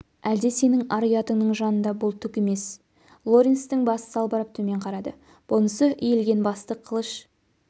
әлде сенің ар-ұятыңның жанында бұл түк емес лоренстің басы салбырап төмен қарады бұнысы иілген басты қылыш